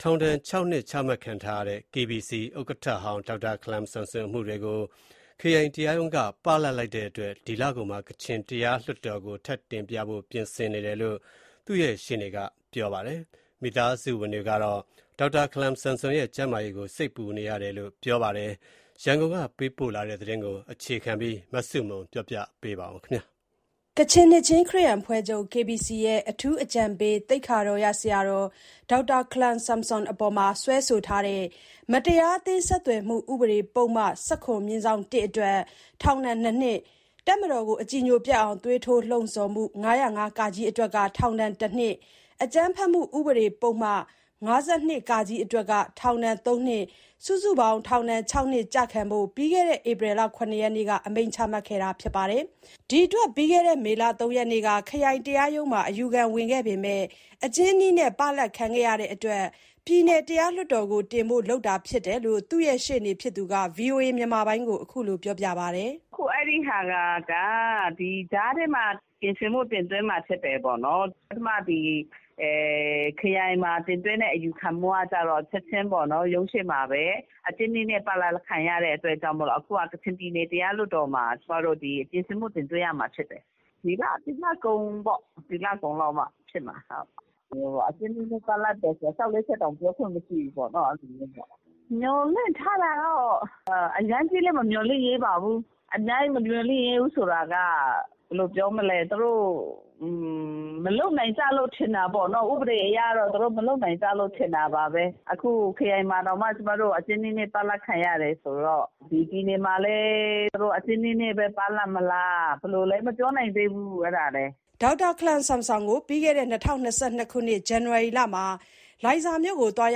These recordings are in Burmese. ထောင်ဒဏ် ၆ နှစ် ချမှတ်ခံထားရတဲ့ KBC ဥက္ကဋ္ဌဟောင်း ဒေါက်တာခလမ်ဆမ်ဆွန်အမှုတွေကို ခရိုင်တရားရုံးက ပလပ်လိုက်တဲ့အတွက် ဒီလကုန်မှာ ကချင်ပြည်နယ်တရားလွှတ်တော်ကို ထပ်တင်ဖို့ပြင်ဆင်နေတယ်လို့ သူ့ရဲ့ ရှေ့နေက ပြောပါတယ်။ မိသားစုဝင်တွေကတော့ ဒေါက်တာခလမ်ဆမ်ဆွန် ရဲ့ကျန်းမာရေးကို စိတ်ပူနေရတယ်လို့ ပြောပါတယ်။ ရန်ကုန်ကပေးပို့တဲ့ ဒီသတင်းကို အခြေခံပြီး မဆုမွန်က ပြောပြမှာပါ။ ကချင်နှစ်ခြင်းခရစ်ယာန်အဖွဲ့ချုပ် KBC ရဲ့ အထူးအကြံပေး သိက္ခာတော်ရဆရာ ဒေါက်တာ ခလမ် ဆမ်ဆွမ်အပေါ် စွဲဆိုထားတဲ့ မတရားအသင်း ဆက်သွယ်မှုဥပဒေပုဒ်မ ၁၇/၁ အတွက် ထောင်ဒဏ် ၂ နှစ်၊ တပ်မတော်ကို အကြည်ညိုပျက်အောင် သွေးထိုးလှုံဆော်မှု ၅၀၅ အတွက် ထောင်ဒဏ် ၁ နှစ်၊ အကြမ်းဖက်မှု ဥပဒေပုဒ်မ ၅၂ အတွက် ထောင်ဒဏ် ၃ နှစ် စုစုပေါင်း ထောင်ဒဏ် ၆ နှစ် ကျခံဖို့ ပြီးခဲ့တဲ့ ဧပြီ ၇ရက်နေ့က ချမှတ်ခဲ့တာပါ။ ဒီအတွက် ပြီးခဲ့တဲ့ မေလ ၃ရက်နေ့က ခရိုင်တရားရုံးမှာ အယူခံဝင်ခဲ့ပေမယ့် အကျဉ်းနီးနဲ့ ပလပ်ခံခဲ့ရတဲ့အတွက် ပြည်နယ်တရားလွှတ်တော်ကိုတင်ဖို့ လုပ်တာဖြစ်တယ်လို့ သူ့ရှေ့နေဖြစ်သူက ဗွီအိုအေကို ခုလိုပြောပြပါတယ်။ “အခု အဲဒါက ဒီကြားထဲမှာ ပြင်ဆင်မှု တင်သွင်းမှာဖြစ်တယ်။ ပထမခရိုင်မှာတင်သွင်းတဲ့ အယူခံကတော့ ရုံးရှေ့မှာဘဲ အကျဉ်းနည်းနဲ့ ပလပ်ခံရလို့ ကချင်ပြည်နယ်တရားလွတ်တော်မှာ ပြင်ဆင်မှုတင်သွင်းမှာ ဖြစ်တယ်။ ဒီလကုန်လောက်ဖြစ်မှာ။ အကျဉ်းနည်းနဲ့ပလပ်တော့ လျှောက်လဲချက်တောင် ပြောခွင့်မရှိဘူးပေါ့။ မျှော်လင့်ထားတာကတော့ အရမ်းကြီးလဲ မမျှော်လင့်ရဲပါဘူး။ အရမ်းမမျှော်လင့်ထားတာက ဘယ်လိုပြောမလဲ သူတို့ ဥပဒေအရ မလုပ်နိုင်ကြလို့ ထင်တာပါဘဲ။ ခရိုင်မှာတောင် အကျဉ်းနည်းနဲ့ပလပ် ခံရတယ်ဆိုတော့ ပြည်နယ်မှာလည်း အကျဉ်းနည်းနဲ့ ပလပ်ခံရမလား၊ ဘယ်လိုလဲ မပြောနိုင်သေးဘူး” ဒေါက်တာ ခလမ်ဆမ်ဆွန်ကို ၂၀၂၂ ခုနှစ် ဇန်နဝါရီလမှာ လိုင်ဇာမြို့ကို သွား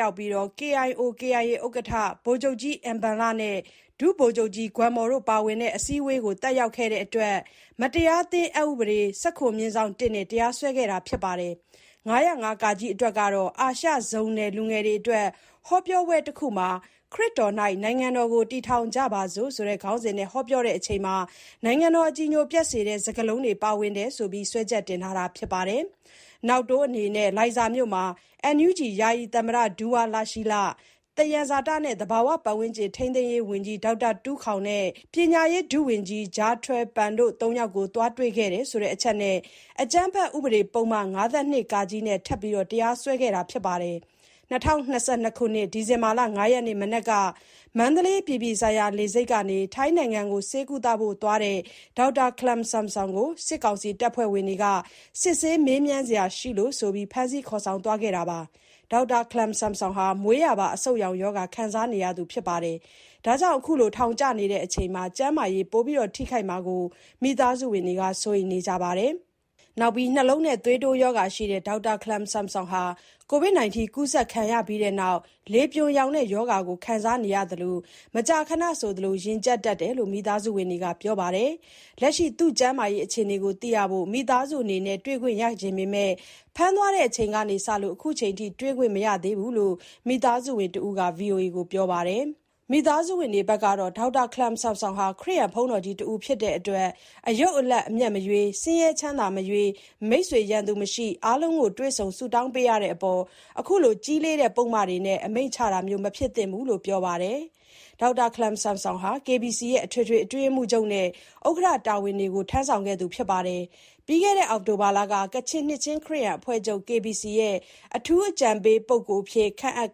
ရောက်ပြီး KIO/KIA ဥက္ကဋ္ဌ ဗိုလ်ချုပ်ကြီး အင်ဘန်လနဲ့ ဒုဗိုလ်ချုပ်ကြီး ဂွမ်မော်တို့ပါဝင်တဲ့ အစည်းအဝေးတစ်ခုကို တက်ရောက်ခဲ့တဲ့အတွက် မတရားအသင်း အက်ဥပဒ ၁၇/၁ နဲ့တရားစွဲခဲ့တာပါ။ ၅၀၅ အတွက်ကတော့ အာရှဇုန်နယ်လူငယ်တွေအတွက် ဟောပြောပွဲတစ်ခုမှာ “ခရစ်တော်၌ နိုင်ငံတော်ကို တည်ထောင်ကြပါစို့” ခေါင်းစဉ်နဲ့ ဟောပြောတဲ့အချိန် နိုင်ငံတော်အကြည်ညိုပျက်စေတဲ့ စကားလုံးတွေ ပါဝင်တယ်ဆိုပြီး စွဲချက်တင်ထားတာ ဖြစ်ပါတယ်။ နောက်တိုးအနေနဲ့ လိုင်ဇာမြို့မှာ NUG ယာယီသမ္မတ ဒူဝါလရှီးလ၊ သယံဇာတနှင့် သဘာဝ ပတ်ဝန်းကျင်ထိန်းသိမ်းရေးဝန်ကြီး ဒေါက်တာ တူးခေါင်နဲ့ ပညာရေးဒုဝန်ကြီး ဂျာထွယ်ပန်တို့ ၃ ယောက်ကို သွားတွေ့တယ်ဆိုတဲ့ အချက်နဲ့ အကြမ်းဖက်ဥပေဒပုဒ်မ ၅၂ နဲ့ ထပ်မံ တရားစွဲဆိုခဲ့တာပါ။ ၂၀၂၂ ဒီဇင်ဘာ ၅ ရက်နေ့ မနက်က မန္တလေးအပြည်ပြည်ဆိုင်ရာ လေဆိပ်ကနေ ထိုင်းနိုင်ငံကို ဆေးကုဖို့အသွား ဒေါက်တာ ခလမ်ဆမ်ဆွမ်ကို စစ်ကောင်စီတပ်ဖွဲ့ဝင်တွေက စစ်ဆေး မေးမြန်းစရာရှိလို့ဆိုပြီး ဖမ်းဆီး ခေါ်ဆောင်သွားခဲ့တာပါ။ ဒေါက်တာ ခလမ်ဆမ်ဆွန်ဟာ မွေးရာပါအဆုတ်ရောင်ရောဂါ ခံစားနေရသူဖြစ်တာကြောင့် အခုလို ထောင်ကျနေချိန်မှာ ကျန်းမာရေး ပိုမိုထိခိုက်လာမှာကို မိသားစုဝင်တွေက စိုးရိမ်နေကြပါတယ်။ နောက်ပြီး နှလုံးနဲ့သွေးတိုးရောဂါရှိတဲ့ ဒေါက်တာ ခလမ်ဆမ်ဆွမ်ဟာ ကိုဗစ်ကူးစက်ခံခဲ့ရပြီးနောက် လေပြွန်ယောင်ရောဂါ ခံစားခဲ့ရပြီး မကြာခဏဆိုသလို ရင်ကြပ်တတ်တယ်လို့ မိသားစုဝင်တွေက ပြောပြပါတယ်။ လက်ရှိ သူ့ကျန်းမာရေးအခြေအနေကို သိရဖို့ မိသားစုအနေနဲ့ တွေ့ခွင့်ရချင်ပေမယ့် ဖမ်းသွားချိန်ကစလို့ ခုချိန်ထိ တွေ့ခွင့်မရသေးဘူးလို့ မိသားစုဝင်တဦးက ဗွီအိုအေကိုပြောပါတယ်။ မိသားစုဝင်တွေဘက်ကတော့ ဒေါက်တာခလမ်ဆမ်ဆွမ်ဟာ ဘုန်းတော်ကြီးတစ်ဦးဖြစ်တဲ့အတွက် အယုတ်အလတ် အမြတ်မရွေး၊ ဆင်းရဲချမ်းသာမရွေး၊ မိတ်ဆွေ ရန်သူမရှိ အားလုံးကို တွေ့ဆုံ ဆုတောင်းပေးရတဲ့အပေါ် အခုလို ကြီးလေးတဲ့ ပုဒ်မတွေနဲ့ အမိန့်ချတာမျိုး မဖြစ်သင့်ဘူးလို့ ပြောပါတယ်။ ဒေါက်တာခလမ်ဆမ်ဆွမ်ဟာ KBC ရဲ့ အထွေထွေအတွင်းရေးမှုးချုပ်နဲ့ ဥက္ကဋ္ဌ တာဝန်တွေကို ယူခဲ့သူဖြစ်ပြီး၊ ပြီးခဲ့တဲ့ အောက်တိုဘာလက ကချင်နှစ်ခြင်း ခရစ်ယာန်အဖွဲ့ချုပ် "KBC ရဲ့ အထူးအကြံပေးပုဂ္ဂိုလ် " အဖြစ် ခန့်အပ်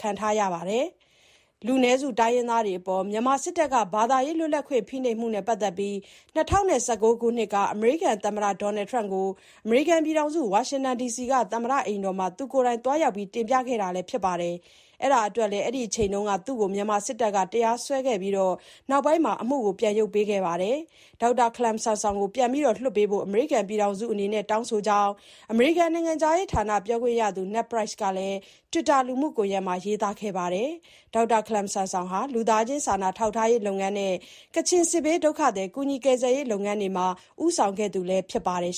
ခံရပါတယ်။ လူနည်းစုတိုင်းရင်းသားတွေအပေါ် မြန်မာစစ်တပ်က ဘာသာရေး လွတ်လပ်ခွင့် ဖိနှိပ်မှုနဲ့ ပတ်သက်ပြီး ၂၀၁၉ ခုနှစ်က အမေရိကန်သမ္မတ ဒေါ်နယ်ထရမ့်ကို ဝါရှင်တန် ဒီစီက သမ္မတ အိမ်ဖြူတော်မှာ ကိုယ်တိုင်သွားရောက် တင်ပြခဲ့သူလည်း ဖြစ်ပါတယ်။ အဲဒါအတွက်လည်း အဲဒီအချိန်တုန်းက သူ့ကို မြန်မာစစ်တပ်က တရားစွဲဆိုခဲ့ဖူးပြီး၊ နောက်ပိုင်း အမှုရုတ်သိမ်းပေးခဲ့ပါတယ်။ ဒေါက်တာ ခလမ်ဆမ်ဆွမ်ကို ပြန်လွှတ်ပေးဖို့ အမေရိကန်ပြည်ထောင်စုအနေနဲ့ တောင်းဆိုကြောင်း၊ အမေရိကန်နိုင်ငံခြားရေးဌာန ပြောခွင့်ရသူ Ned Price ကလည်း တွစ်တာလူမှုကွန်ယက်မှာ ရေးသားခဲ့ပါတယ်။ ဒေါက်တာခလမ်ဆမ်ဆွန်ဟာ လူသားချင်းစာနာ ထောက်ထားရေးလုပ်ငန်းနဲ့ ကချင်စစ်ဘေးဒုက္ခသည် ကူညီကယ်ဆယ်ရေးလုပ်ငန်းတွေမှာ ဦးဆောင်ခဲ့သူလည်း ဖြစ်ပါတယ်